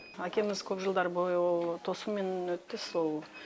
әкеміз көп жылдар бойы ол тосумен өтті сол